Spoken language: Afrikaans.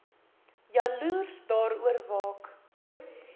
jaloers daaroor waak